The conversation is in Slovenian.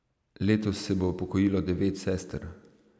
Letos se bo upokojilo devet sester.